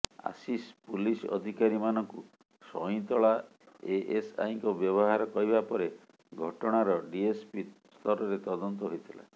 Ashish police ଅଧିକାରୀମାନଙ୍କୁ ସଇଁତଳା ଏଏସ୍ଆଇଙ୍କ ବ୍ୟବହାର କହିବା ପରେ ଘଟଣାର ଡିଏସ୍ପି ସ୍ତରରେ ତଦନ୍ତ ହୋଇଥିଲା